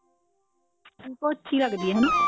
ਪਿਕੋ ਅੱਛੀ ਲੱਗਦੀ ਹੈ